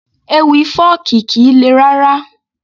Ewì fọ́ọ̀kì kìí le rárá